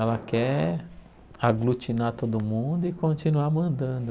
Ela quer aglutinar todo mundo e continuar mandando.